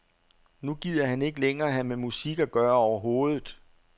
Nu gider han ikke længere have med musik at gøre overhovedet.